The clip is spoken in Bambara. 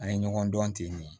An ye ɲɔgɔn dɔn ten de